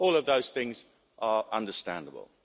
All of those things are understandable.